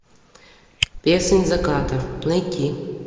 песнь заката найти